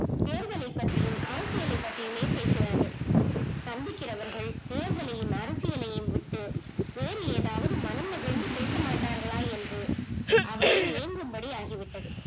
தேர்தலை பத்தியும் அரசியலை பத்தியுமே பேசுகிறார்கள், சந்திக்குகிறவர்கள் தேர்தலலையும் அரசியலையும் விட்டு வேறு ஏதாவது மனம் நிறைந்து பேச மாட்டார்களா என்று அவளே எங்கும் படி ஆகி விட்டது